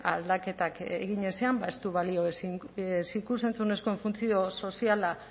aldaketak egin ezean ez du balio ez ikus entzunezkoen funtzio soziala